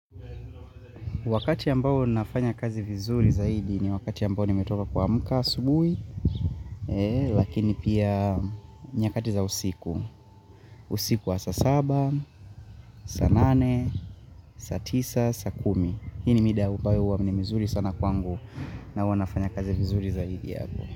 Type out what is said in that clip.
Wakati ambao nafanya kazi vizuri zaidi ni wakati ambao nimetoka kuamka asubuhi Lakini pia nyakati za usiku usiku wa saa saba, saa nane, saa tisa, saa kumi. Hii ni mida ambayo huwa ni mizuri sana kwangu na huwanafanya kazi vizuri zaidi hapo.